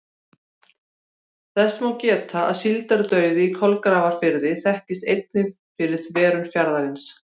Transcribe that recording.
Þess má geta að síldardauði í Kolgrafafirði þekktist einnig fyrir þverun fjarðarins.